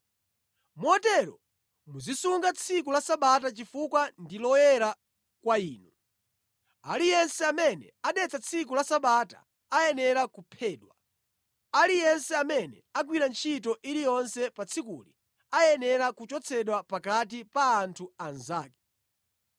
“Motero muzisunga tsiku la Sabata chifukwa ndi loyera kwa inu. Aliyense amene adetsa tsiku la Sabata ayenera kuphedwa. Aliyense amene agwira ntchito iliyonse pa tsikuli ayenera kuchotsedwa pakati pa anthu anzake.